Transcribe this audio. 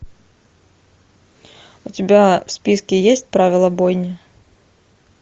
у тебя в списке есть правила бойни